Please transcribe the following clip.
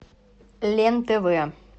лен тв